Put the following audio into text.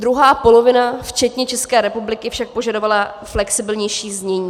Druhá polovina včetně České republiky však požadovala flexibilnější znění.